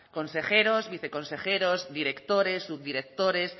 consejeros viceconsejeros directores subdirectores